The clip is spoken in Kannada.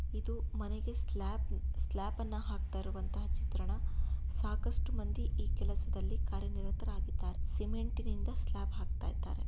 ಇದು ಮನೆಗೆ ಸ್ಲಾಬ್ ಸ್ಲಾಪನ್ನುಪಹಾಕ್ತಾರೋ ಅಂತ ಚಿತ್ರಣ ಸಾಕಷ್ಟು ಮಂದಿ ಕಾರ್ಯನಿರತರಾಗಿದ್ದಾರೆ ಸಿಮೆಂಟ್ ನಿಂದ ಸ್ಲ್ಯಾಪ್ ಅನ್ನ ಹಾಕ್ತಾ ಇದ್ದಾರೆ.